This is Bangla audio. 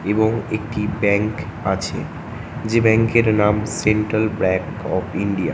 এবং একটিব্যাঙ্ক আছে যে ব্যাঙ্ক এর নাম সেন্ট্রাল ব্যাঙ্ক অফ ইন্ডিয়া ।